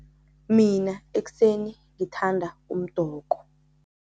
Mina ekuseni ngithanda umdoko.